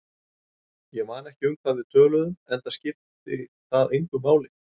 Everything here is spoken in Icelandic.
Ég man ekki um hvað við töluðum, enda skipti það engu máli.